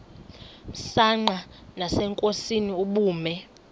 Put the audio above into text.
msanqa nasenkosini ubume